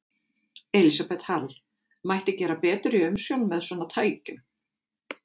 Elísabet Hall: Mætti gera betur í umsjón með svona tækjum?